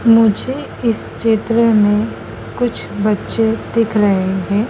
मुझे इस चित्र में कुछ बच्चे दिख रहे है।